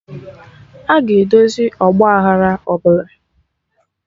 Aga edozi ọgba aghara ọbụla